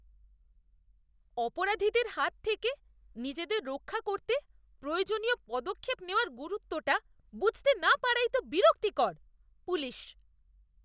অপরাধীদের হাত থেকে নিজেদের রক্ষা করতে প্রয়োজনীয় পদক্ষেপ নেওয়ার গুরুত্বটা বুঝতে না পারাই তো বিরক্তিকর। পুলিশ